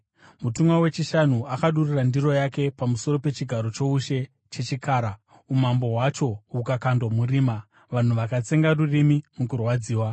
Mutumwa wechishanu akadurura ndiro yake pamusoro pechigaro choushe chechikara, umambo hwacho hukakandwa murima. Vanhu vakatsenga rurimi mukurwadziwa